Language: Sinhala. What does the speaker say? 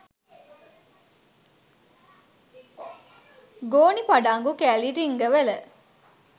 ගෝනි පඩංගු කෑලි රිංගවල